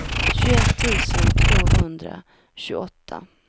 tjugoett tusen tvåhundratjugoåtta